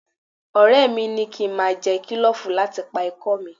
Ọ̀rẹ́ mi ni kí n máa jẹ kílòfù láti pa ikọ́ mi